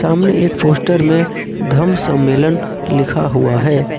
हमने एक पोस्टर में धम्म सम्मेलन लिखा हुआ है।